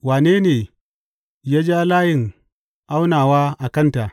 Wane ne ya ja layin aunawa a kanta?